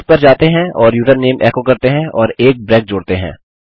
उस पर जाते हैं और यूजरनेम एको करते हैं और एक ब्रेक जोड़ते हैं